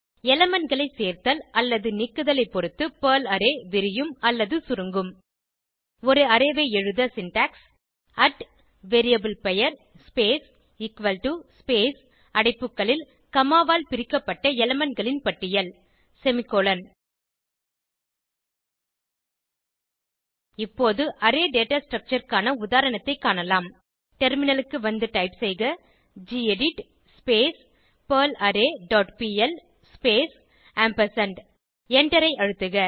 elementகளை சேர்த்தல் அல்லது நீக்குதலை பொருத்து பெர்ல் அரே விரியும் அல்லது சுருங்கும் ஒரு அரே ஐ எழுத சின்டாக்ஸ் அட் variableபெயர் ஸ்பேஸ் எக்குவல் டோ ஸ்பேஸ் அடைப்புகளில் காமா ஆல் பிரிக்கப்பட்ட elementகளின் பட்டியல் செமிகோலன் இப்போது அரே டேட்டா ஸ்ட்ரக்சர் க்கான உதாரணத்தைக் காணலாம் டெர்மினலுக்கு வந்து டைப் செய்க gedit perl array dot P L space எண்டரை அழுத்துக